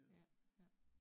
Ja ja